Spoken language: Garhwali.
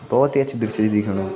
भोत ही अच्छु दृश्य च दिखेणु ।